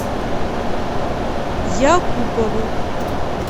якупову